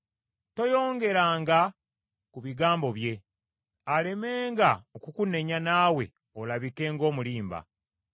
Toyongeranga ku bigambo bye, alemenga okukunenya naawe olabike ng’omulimba.